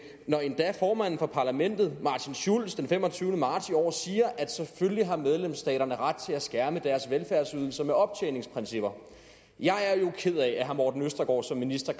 når endda formanden for parlamentet martin schulz den femogtyvende marts i år siger at selvfølgelig har medlemsstaterne ret til at skærme deres velfærdsydelser med optjeningsprincipper jeg er jo ked af at herre morten østergaard som minister